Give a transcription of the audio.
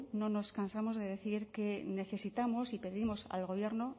no nos cansamos de decir que necesitamos y pedimos al gobierno